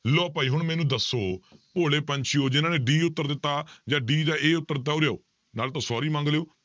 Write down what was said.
ਲਓ ਭਾਈ ਹੁਣ ਮੈਨੂੰ ਦੱਸੋ ਭੋਲੇ ਪੰਛੀਓ ਜਿਹਨਾਂ ਨੇ d ਉੱਤਰ ਦਿੱਤਾ, ਜਾਂ d ਜਾਂ a ਉੱਤਰ ਦਿੱਤਾ ਉਰੇ ਆਓ ਨਾਲੇ ਤੇ sorry ਮੰਗ ਲਇਓ